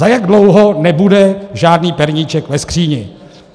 Za jak dlouho nebude žádný perníček ve skříni?